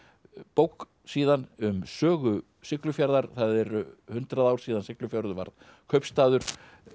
bók síðan um sögu Siglufjarðar það eru hundrað ár síðan Siglufjörður varð kaupstaður